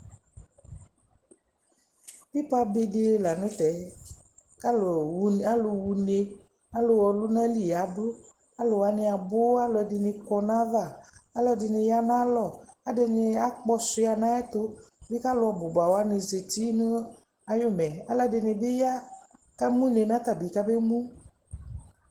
Pɩpabe dɩ la nʋ tɛ kʋ alʋwu alʋ ɣa une, alʋ ɣa ɔlʋnali yadʋ Alʋ wanɩ abʋ Alʋ ɛdɩnɩ kɔ nʋ ayava Alʋ ɛdɩnɩ ya nʋ ayalɔ Adɩnɩ akpɔsʋɩa nʋ ayɛtʋ bɩ kʋ alʋ bʋ ba wanɩ zati nʋ ayʋmɛ Alʋ ɛdɩnɩ bɩ ya kamʋ une, mɛ ata bɩ kamemu